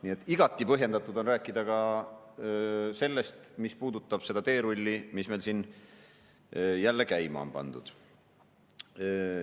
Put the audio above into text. Nii et igati põhjendatud on rääkida ka sellest, mis puudutab seda teerulli, mis meil siin jälle käima on pandud.